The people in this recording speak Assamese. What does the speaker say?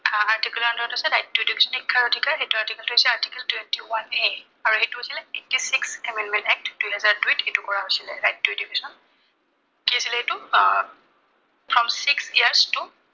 Article ৰ under ত আছে, right to education, শিক্ষাৰ অধিকাৰ । সেইটো Article টো হৈছে article twenty one A আৰু সেইটো হৈছিলে six amendment Act দুহেজাৰ দুইত এইটো কৰা হৈছিলে। right to education কি আছিলে সেইটা আহ six years to